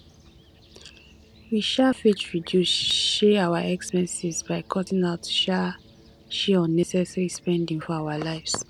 we um fit reduce um our expenses by cutting out um um unnecessary spending for our lives